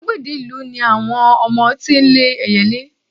igbagede ìlú ni àwọn ọmọ tí n le eyelé